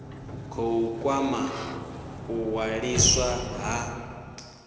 khou kwama u ṅwaliswa ha